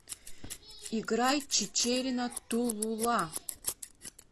играй чичерина ту лу ла